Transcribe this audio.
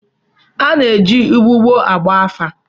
A na-eji ụgbụgbọ agba afa.